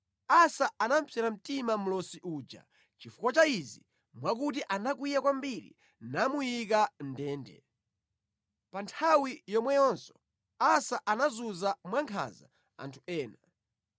Asa anamupsera mtima mlosi uja chifukwa cha izi mwakuti anakwiya kwambiri namuyika mʼndende. Pa nthawi yomweyonso Asa anazunza mwankhanza anthu ena.